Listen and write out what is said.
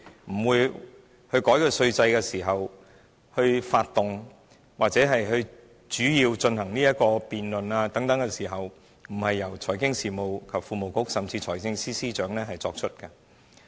難道修改稅制及發動或進行有關辯論的時候，不應是由財經事務及庫務局甚至財政司司長作出的嗎？